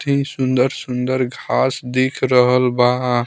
ही सुंदर-सुंदर घास दिख रहल बा।